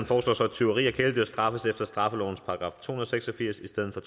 foreslår så at tyveri af kæledyr straffes efter straffelovens § to hundrede og seks og firs i stedet for